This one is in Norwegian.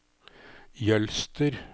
Jølster